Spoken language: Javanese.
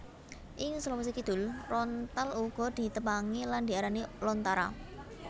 Ing Sulawesi Kidul rontal uga ditepangi lan diarani lontara